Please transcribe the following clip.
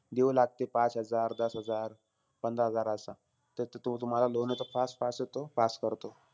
देऊ लागते, पाच हजार, दस हजार, पंधरा हजार असं. त तो तुम्हाला loan हे तो fast येतो, pass करतो.